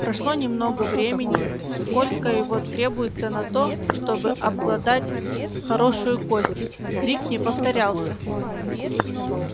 прошло немного времени сколько его требуется на то чтобы обглодать хорошую кость крик не повторялся